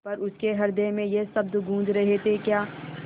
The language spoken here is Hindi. पर उसके हृदय में ये शब्द गूँज रहे थेक्या